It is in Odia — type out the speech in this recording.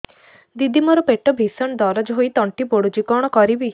ଦିଦି ମୋର ପେଟ ଭୀଷଣ ଦରଜ ହୋଇ ତଣ୍ଟି ପୋଡୁଛି କଣ କରିବି